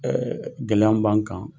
gɛlɛya min b'an kan